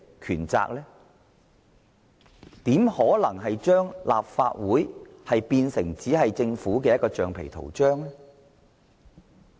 他怎可能把立法會變成政府的橡皮圖章？